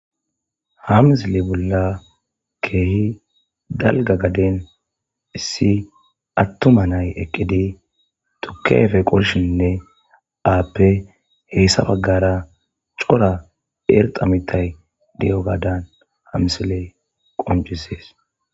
Ha misile bolla keehi dalgga gaden issi attumay na'ay eqqidi tukke ayfe qolishiine aape hessa baggara cora irxxa mittay de'iyogadan ha misiley qonccisees.